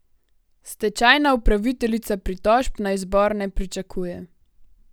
Stečajna upraviteljica pritožb na izbor ne pričakuje.